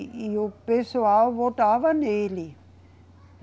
E, e o pessoal votava nele.